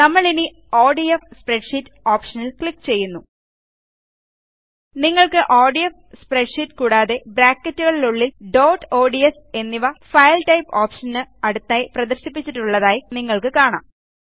നമ്മൾ ഇനി ODF spreadsheet ഓപ്ഷനിൽ ക്ലിക്ക് ചെയ്യുന്നു നിങ്ങൾക്ക്ODF സ്പ്രെഡ്ഷീറ്റ് കൂടാതെ ബ്രാക്കറ്റുകൾക്കുള്ളിൽ ഡോട്ട് ഓഡ്സ് എന്നിവFile ടൈപ്പ് ഓപ്ഷന് അടുത്തായി പ്രദർശിപ്പിച്ചിട്ടുള്ളതായി നിങ്ങൾക്ക് കാണാം